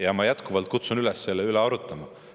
Ja ma jätkuvalt kutsun üles selle üle arutama.